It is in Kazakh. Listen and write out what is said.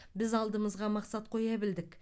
біз алдымызға мақсат қоя білдік